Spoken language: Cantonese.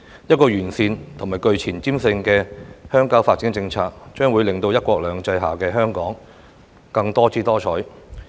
完善而具前瞻性的鄉郊發展政策，將會令"一國兩制"下的香港更多姿多采。